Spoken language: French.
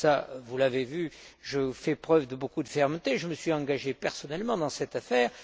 Comme vous l'avez vu, je fais preuve de beaucoup de fermeté et je me suis engagé personnellement dans cette affaire.